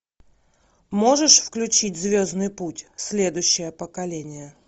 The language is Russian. можешь включить звездный путь следующее поколение